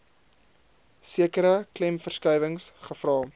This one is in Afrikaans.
sekere klemverskuiwings gevra